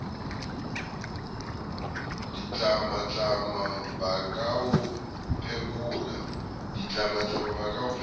ditlamatlama ba ka o phekola